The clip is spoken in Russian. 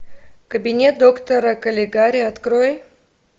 кабинет доктора калигари открой